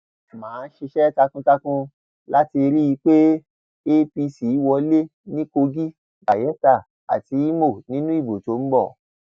má a ṣiṣẹ takuntakun láti rí i pé apc wọlé ní kogi bayela àti ìmọ nínú ìbò tó ń bọ